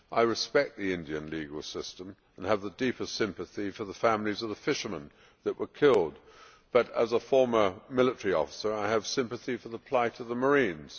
I respect the Indian legal system and have the deepest sympathy for the families of the fishermen that were killed, but as a former military officer I have sympathy for the plight of the marines.